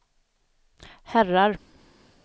herrar